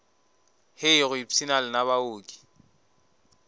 hei go ipshina lena baoki